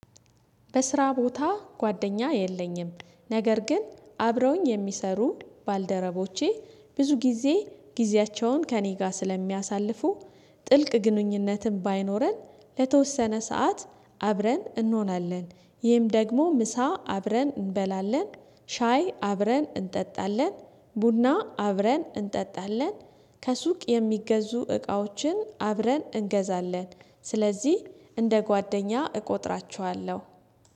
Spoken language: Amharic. በስራ ቦታ ጓደኛ የለኝም ነገር ግን አብረውኝ የሚሰሩ ባልደረቦቼ ብዙ ጊዜ ጊዜያቸውን ከእኔ ጋር ስለሚያሳልፉ። ጥልቅ ግንኙነትን ባይኖረን ለተወሰነ ሰዓት አብረን እንሆናለን። ይህም ደግሞ ምሳ አብረን እንበላለን ሻይ አብረን እንጠጣለን ቡና አብረን እንጠጣለን። ከሱቅ የሚገዙ እቃዎችን አብረን እንገዛለን ስለዚህ እንደ ጓደኛ እቆጥራችኋለሁ